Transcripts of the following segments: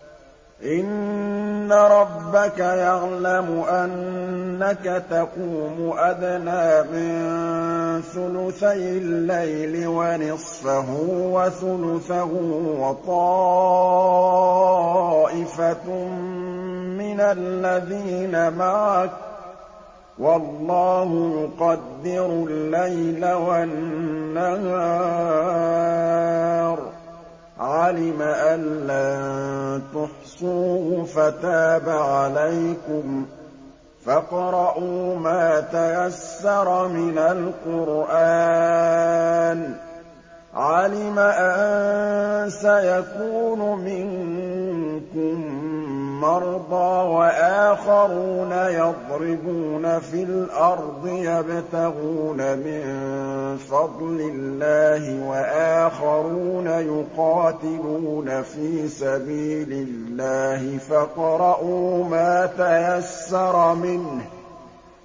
۞ إِنَّ رَبَّكَ يَعْلَمُ أَنَّكَ تَقُومُ أَدْنَىٰ مِن ثُلُثَيِ اللَّيْلِ وَنِصْفَهُ وَثُلُثَهُ وَطَائِفَةٌ مِّنَ الَّذِينَ مَعَكَ ۚ وَاللَّهُ يُقَدِّرُ اللَّيْلَ وَالنَّهَارَ ۚ عَلِمَ أَن لَّن تُحْصُوهُ فَتَابَ عَلَيْكُمْ ۖ فَاقْرَءُوا مَا تَيَسَّرَ مِنَ الْقُرْآنِ ۚ عَلِمَ أَن سَيَكُونُ مِنكُم مَّرْضَىٰ ۙ وَآخَرُونَ يَضْرِبُونَ فِي الْأَرْضِ يَبْتَغُونَ مِن فَضْلِ اللَّهِ ۙ وَآخَرُونَ يُقَاتِلُونَ فِي سَبِيلِ اللَّهِ ۖ فَاقْرَءُوا مَا تَيَسَّرَ مِنْهُ ۚ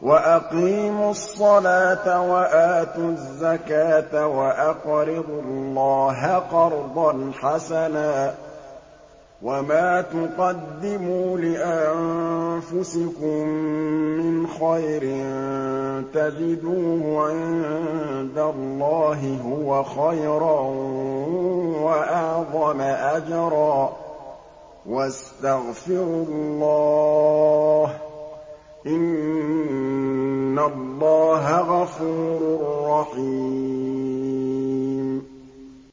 وَأَقِيمُوا الصَّلَاةَ وَآتُوا الزَّكَاةَ وَأَقْرِضُوا اللَّهَ قَرْضًا حَسَنًا ۚ وَمَا تُقَدِّمُوا لِأَنفُسِكُم مِّنْ خَيْرٍ تَجِدُوهُ عِندَ اللَّهِ هُوَ خَيْرًا وَأَعْظَمَ أَجْرًا ۚ وَاسْتَغْفِرُوا اللَّهَ ۖ إِنَّ اللَّهَ غَفُورٌ رَّحِيمٌ